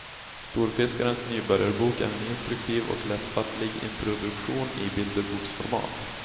Storfiskarens nybörjarbok är en instruktiv och lättfattlig introduktion i bilderboksformat.